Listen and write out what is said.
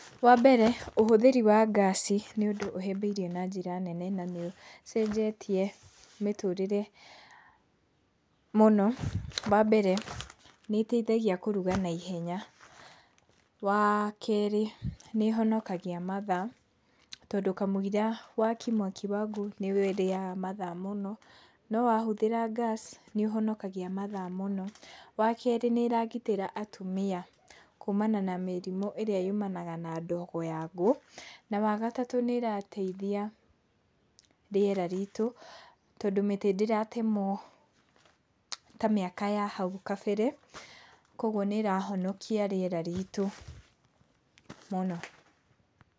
Wambere, ũhũthĩri wa ngaci nĩ ũndũ ũhĩmbĩirio na njĩra nene na nĩũcenjetie mĩtũrĩre mũno. Wambere nĩĩteithagia kũruga naihenya. Wakerĩ nĩĩhonokagia mathaa, tondũ kamũiria wakie mwaki wa ngũ nĩũrĩaga mathaa mũno, no wahũthĩra ngaci nĩũhonokagia mathaa mũno. Wakerĩ nĩĩragitĩra atumia kumana na mĩrimũ ĩrĩa yumanaga na ndigo ya ngũ. Na, wagatatũ nĩĩrarteithia rĩera ritũ tondũ mĩtĩ ndĩratemwo ta mĩaka ya hau kabere, kuoguo nĩrahonokia rĩera ritũ mũno.